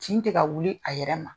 Cin te ka wuli a yɛrɛ ma.